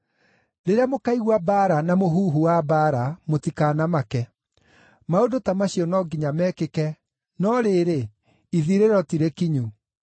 Rĩrĩa mũkaigua mbaara na mũhuhu wa mbaara mũtikanamake. Maũndũ ta macio no nginya mekĩke, no rĩrĩ, ithirĩro ti rĩkinyu.